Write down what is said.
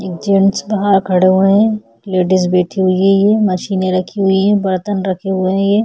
एक जेन्टस वहाँ खड़े हुए हैं लेडीज बैठी हुई है ये मशीने रखी हुई है बर्तन रखे हुए हैं ये--